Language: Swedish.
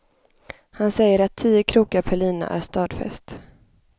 Han säger att tio krokar per lina är stadfäst.